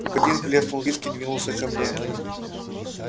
в один плеснул виски двинулся ко мне